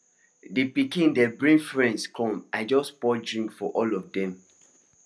the pikin dem bring friends come i just pour drink for all of dem